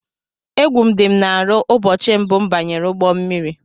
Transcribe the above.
Égwu dị m n'arụ ụbọchị mbụ m banyere ụgbọ mmiri.